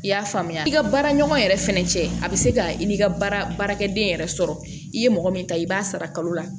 I y'a faamuya i ka baara ɲɔgɔn yɛrɛ fɛnɛ cɛ a bɛ se ka i ka baarakɛden yɛrɛ sɔrɔ i ye mɔgɔ min ta i b'a sara kalo la